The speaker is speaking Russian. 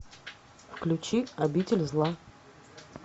включи обитель зла